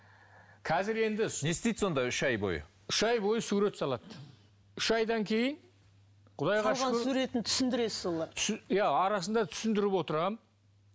қазір енді не істейді сонда үш ай бойы үш ай бойы сурет салады үш айдан кейін суретін түсіндіресіз оған иә арасында түсіндіріп отырамын